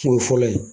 Kun ye fɔlɔ ye